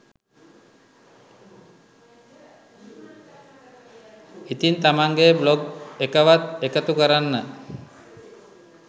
ඉතිං තමන්ගේ බ්ලොග් එකවත් එකතු කරන්න